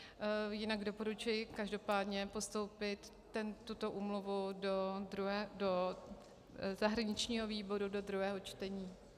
Jinak doporučuji každopádně postoupit tuto úmluvu do zahraničního výboru do druhého čtení.